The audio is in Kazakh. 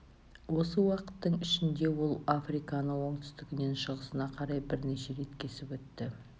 осы уақыттың ішінде ол африканы оңтүстігінен шығысына қарай бірнеше рет кесіп өтті